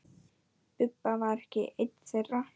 Bubba var ekki einn þeirra.